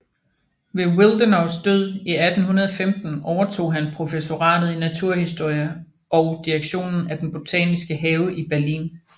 Ved Willdenows død 1815 overtog han professoratet i naturhistorie og direktionen af den botaniske have i Berlin